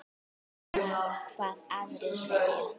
Sama hvað aðrir segja.